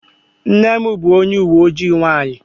Nne m bụ onye uwe ojii nwanyị.